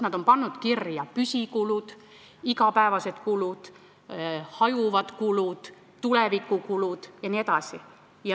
Nad on pannud kirja püsikulud, igapäevased kulud, hajuvad kulud, tulevikukulud jne.